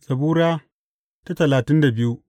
Zabura Sura talatin da biyu